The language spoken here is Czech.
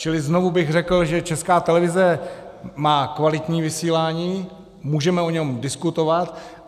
Čili znovu bych řekl, že Česká televize má kvalitní vysílání, můžeme o něm diskutovat.